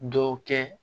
Dɔ kɛ